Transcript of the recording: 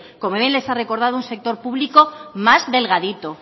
como bien les ha recordado un sector público más delgadito